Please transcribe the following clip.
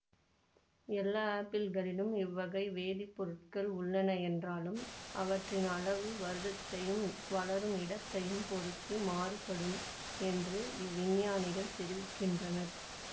எல்லா ஆப்பிள்களிலும் இவ்வகை வேதிப்பொருட்கள் உள்ளன என்றாலும் அவற்றின் அளவு வருடத்தையும் வளரும் இடத்தையும் பொருத்து மாறுபடும் என்று இவ்விஞ்ஞானிகள் தெரிவிக்கின்றனர்